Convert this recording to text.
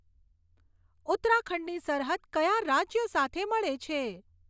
ઉત્તરાખંડની સરહદ કયા રાજ્યો સાથે મળે છે